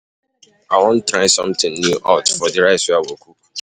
I wan try something new out for the rice wey I go cook.